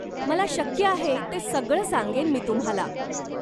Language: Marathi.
मला शक्य आहे ते सगळं सांगेन मी तुम्हाला.